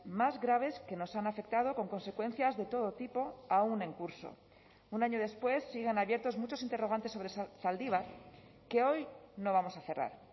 más graves que nos han afectado con consecuencias de todo tipo aun en curso un año después siguen abiertos muchos interrogantes sobre zaldibar que hoy no vamos a cerrar